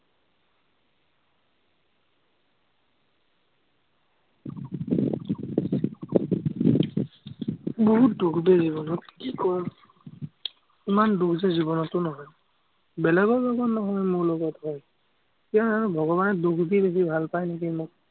বহুত দুখ গোটেই জীৱনত, কি কম। ইমান দুখ যে জীৱনতো নহয়। বেলেগৰ লগত নহয়, মোৰ লগত হয়। ইয়াৰ আৰু ভগবানে দুখ দি বেছি ভাল পায় নেকি মোক।